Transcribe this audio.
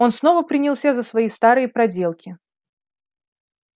он снова принялся за свои старые проделки